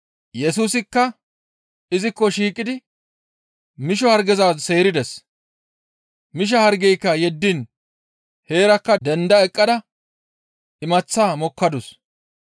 Yesusikka izikko shiiqidi misho hargeza seerides. Misha hargeyka yeddiin heerakka denda eqqada imaththata mokkadus.